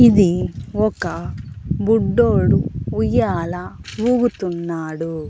ఇది ఒక బుడ్డోడు ఉయ్యాలా ఊగుతున్నాడు.